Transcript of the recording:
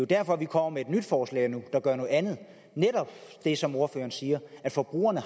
derfor at vi kommer med et nyt forslag nu der gør noget andet netop det som ordføreren siger at forbrugerne